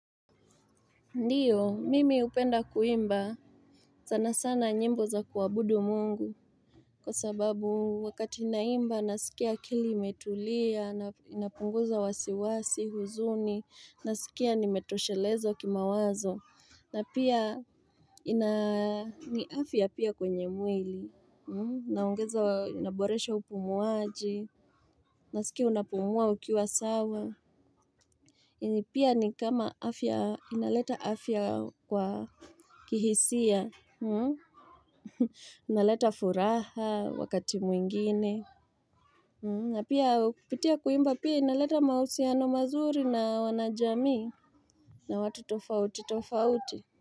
Ndiyo, mimi hupenda kuimba, sana sana nyimbo za kuwabudu mungu. Kwa sababu, wakati ninaimba, nasikia akili imetulia, inapunguza wasiwasi, huzuni, nasikia nimetosheleza kima wazo, na pia ni afia pia kwenye mwili, naongeza inaboresha upumuaji, nasikia unapumua ukiwa sawa. Pia ni kama afya inaleta afya kwa kihisia inaleta furaha wakati mwingine Napia kupitia kuimba pia inaleta mahusiano mazuri na wanajamii na watu tofauti tofauti.